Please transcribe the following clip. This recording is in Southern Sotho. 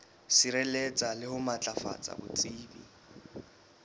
sireletsa le ho matlafatsa botsebi